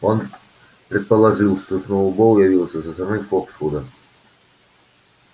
он предположил что сноуболл явился со стороны фоксвуда